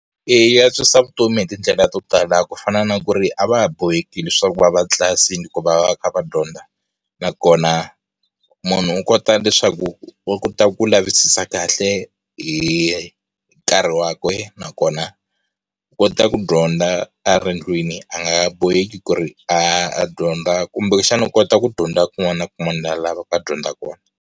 Eya yi antswisa vutomi hi tindlela to tala ku fana na ku ri a va ha boheki leswaku ku va va tlilasini ku va va kha va dyondza. Na kona, munhu u kota leswaku, u ta ku lavisisa kahle hi nkarhi wa kwe, nakona, kota ku dyondza a ri ndlwini a nga boheki ku ri a a dyondza kumbexana u kota ku dyondza kun'wana na kun'wana laha a lavaka dyondza kona.